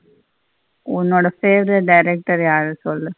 உன்னோட favorite director யாருன்னு சொல்லு.